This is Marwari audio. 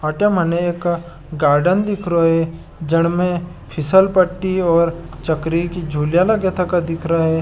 अटे मने एक गार्डन दिख रहा है जिनमें फिसल पट्टी और चकरी की झूला लगी दिख रहा है।